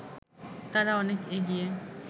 তারা অনেক এগিয়ে